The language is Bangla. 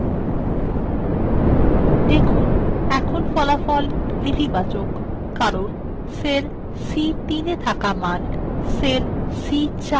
দেখুন এখন ফলাফল নেতিবাচক কারণ cell c3 মান cell c4 এর মান চেয়ে বেশী